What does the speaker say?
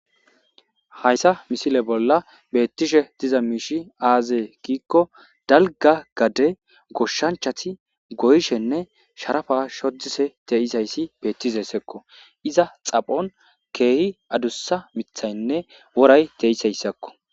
Hayssa misile bolla beettishe diza miishi aazee giikko dalga gade goshshanchati goyshenne sharafa shodise teisayssi beettizessekko iza xaphon keehi adussa mithaynne woray teisayssakko.